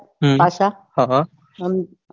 હમ હા હા.